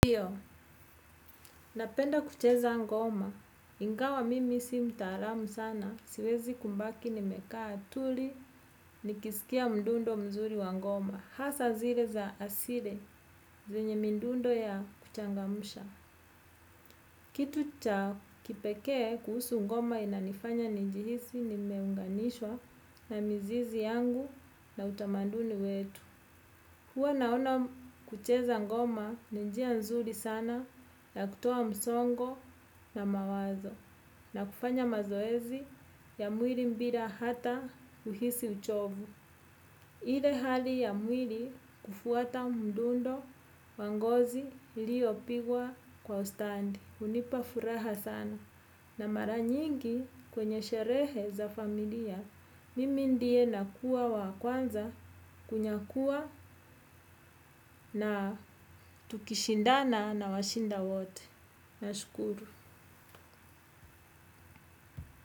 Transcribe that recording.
Ndiyo, napenda kucheza ngoma, ingawa mimi si mtaalamu sana, siwezi kumbaki nimekaa tuli nikisikia mdundo mzuri wa ngoma. Hasa zile za asili, zenye midundo ya kuchangamusha. Kitu cha kipekee kuhusu ngoma inanifanya nijihisi nimeunganishwa na mizizi yangu na utamanduni wetu. Huwa naona kucheza ngoma ni njia nzuri sana ya kutoa msongo na mawazo na kufanya mazoezi ya mwiri mbira hata kuhisi uchovu. Ile hali ya mwiri kufuata mdundo wa ngozi iliopigwa kwa ustandi. Unipa furaha sana na mara nyingi kwenye sherehe za familia. Mimi ndiye nakuwa wa kwanza kunyakuwa na tukishindana nawashinda wote. Nashukuru.